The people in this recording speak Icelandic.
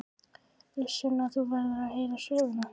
Uss Sunna, þú verður að heyra söguna!